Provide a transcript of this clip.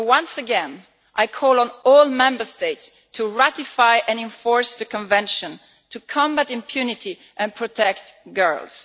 Once again, I call on all Member States to ratify and enforce the Convention, to combat impunity and protect girls.